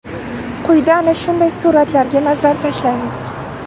Quyida ana shunday suratlarga nazar tashlaymiz.